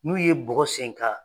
N'u ye bɔgɔ sen ka